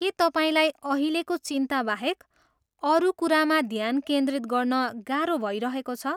के तपाईँलाई अहिलेको चिन्ताबाहेक अरू कुरामा ध्यान केन्द्रित गर्न गाह्रो भइरहेको छ?